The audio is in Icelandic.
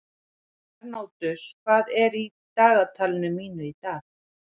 Bernódus, hvað er í dagatalinu mínu í dag?